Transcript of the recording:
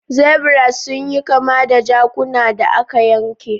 Zebras sun yi kama da jakunan da aka yanke.